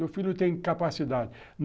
Meu filho tem capacidade.